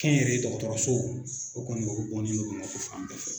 Kɛ n yɛrɛ ye dɔgɔtɔrɔsow o kɔni o bɔnen do Bamako fan bɛɛ fɛ.